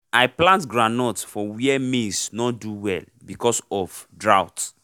i plant groundnut for where maize nor do well because of drought